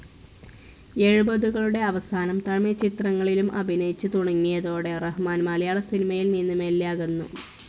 എൺപതുകളുടെ അവസാനം തമിഴ് ചിത്രങ്ങളിലും അഭിനയിച്ചു തുടങ്ങിയതോടെ റഹ്മാൻ മലയാള സിനിമയിൽ നിന്ന് മെല്ലെ അകന്നു.